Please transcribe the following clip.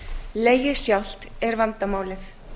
legið sjálft er vandamálið